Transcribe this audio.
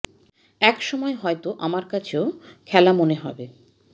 এক সময় হয়তো আমার কাছে ও খেলা মনে হবে